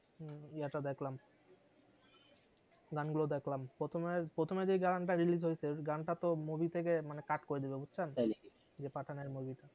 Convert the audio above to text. ইয়ে টা দেখলাম গান গুলা দেখলাম প্রথমে প্রথমে যে গান টা release হয়েছে গান টা তো movie থেকে মানে cut করে দিলো বুঝছেন। তাই নাকি ইয়ে পাঠান এর movie টা